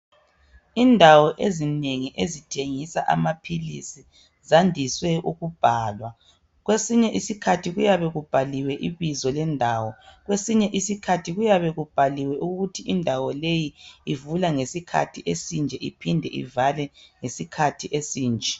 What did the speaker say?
Indawo ezinengi ezithengisa amapilisi zandiswe ukubhalwa. Kwesinye isikhathi kuyabe kubhaliwe ibizo lendawo, kwesinye isikhathi kuyabe kubhaliwe ukuthi indawo leyi ivula ngesikhathi esinje iphinde ivale ngesikhathi esinje.